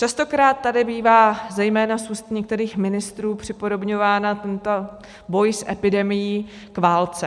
Častokrát tady bývá, zejména z úst některých ministrů, připodobňován tento boj s epidemií k válce.